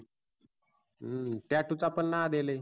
हम्म tattoo चा पण नाद आहे लई.